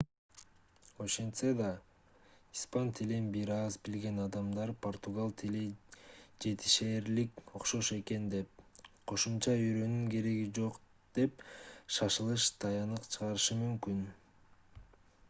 ошентсе да испан тилин бир аз билген адамдар португал тили жетишээрлик окшош экен деп кошумча үйрөнүүнүн кереги жок деген шашылыш тыянак чыгарышы мүмкүн